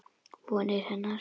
Vonir hennar.